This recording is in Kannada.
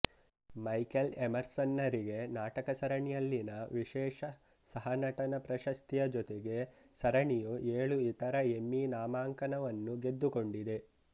ಮೈಕೆಲ್ ಎಮರ್ಸನ್ನರಿಗೆ ನಾಟಕಸರಣಿಯಲ್ಲಿನ ವಿಶೇಷ ಸಹನಟನ ಪ್ರಶಸ್ತಿಯ ಜೊತೆಗೆ ಸರಣಿಯು ಏಳು ಇತರ ಎಮ್ಮೀ ನಾಮಾಂಕನವನ್ನು ಗೆದ್ದುಕೊಡಿದೆ